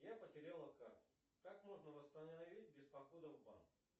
я потеряла карту как можно восстановить без похода в банк